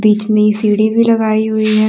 इसमें सीढ़ी भी लगाई हुई है।